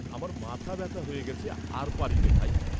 আমার মাথা ব্যথা হয়ে গেছে আর পারিনে, ভাই।